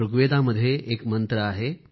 ऋग्वेदामध्ये एक मंत्र आहे